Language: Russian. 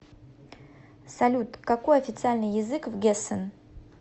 салют какой официальный язык в гессен